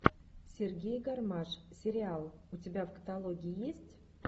сергей гармаш сериал у тебя в каталоге есть